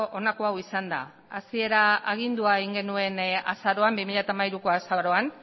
honako hau izan da hasieran agindua egin genuen bi mila hamairuko azaroan